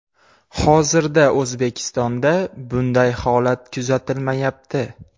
Hozirda O‘zbekistonda bunday holat kuzatilmayapti.